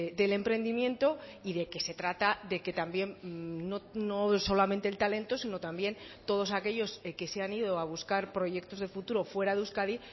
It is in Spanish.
del emprendimiento y de que se trata de que también no solamente el talento sino también todos aquellos que se han ido a buscar proyectos de futuro fuera de euskadi